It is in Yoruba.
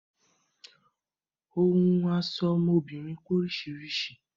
Ohun ọ̀ṣọ̀ ọmọbìnrin pé oríṣiríṣi